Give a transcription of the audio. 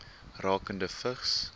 rakende vigs